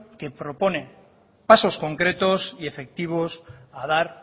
que propone pasos concretos y efectivos a dar